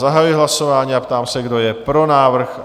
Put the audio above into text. Zahajuji hlasování a ptám se, kdo je pro návrh?